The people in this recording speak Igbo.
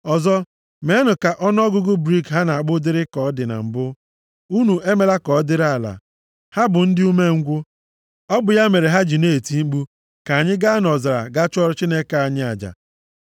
Ọzọ, meenụ ka ọnụọgụgụ brik ha na-akpụ dịrị ka ọ dị na mbụ, unu emela ka ọ dịrị ala. Ha bụ ndị umengwụ. Ọ bụ ya mere ha ji na-eti mkpu, ‘Ka anyị gaa nʼọzara gaa chụọrọ Chineke anyị aja.’